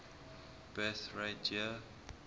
birth rate year